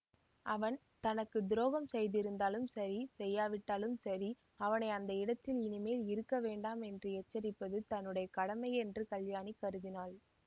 அவன் தனக்கு துரோகம் செய்திருந்தாலும் சரி செய்யாவிட்டாலும் சரி அவனை அந்த இடத்தில் இனிமேல் இருக்க வேண்டாம் என்று எச்சரிப்பது தன்னுடைய கடமை என்று கல்யாணி கருதினாள்